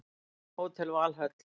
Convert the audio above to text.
Hótel Valhöll